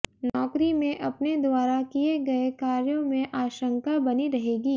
नौकरी में अपने द्वारा किये गए कार्यों में आशंका बनी रहेगी